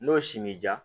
N'o si m'i diya